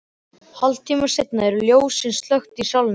Hálftíma seinna eru ljósin slökkt í salnum.